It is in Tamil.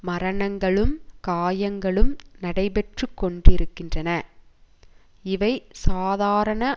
மரணங்களும் காயங்களும் நடைபெற்று கொண்டிருக்கின்றன இவை சாதாரண